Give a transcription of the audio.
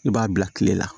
I b'a bila kile la